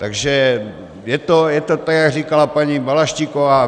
Takže je to tak, jak říkala paní Balaštíková.